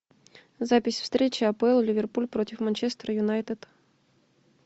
запись встречи апл ливерпуль против манчестер юнайтед